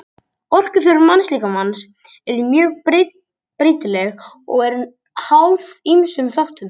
Orkuþörf mannslíkamans er mjög breytileg og er háð ýmsum þáttum.